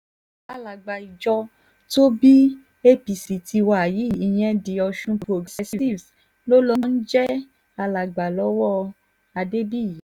alága ìjọ tó bí apc tiwa yìí ìyẹn the ọ̀sun progressives ló ló ń jẹ́ alàgbà lọ́wọ́ adébíyì